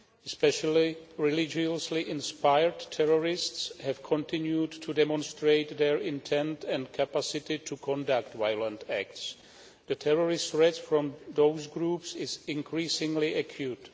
Especially, religiously inspired terrorists have continued to demonstrate their intent and capacity to conduct violent acts. The terrorist threats from those groups is increasingly acute.